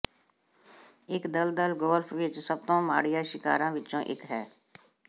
ਇੱਕ ਦਲਦਲ ਗੋਲਫ ਵਿੱਚ ਸਭ ਤੋਂ ਮਾੜੀਆਂ ਸ਼ਿਕਾਰਾਂ ਵਿੱਚੋਂ ਇੱਕ ਹੈ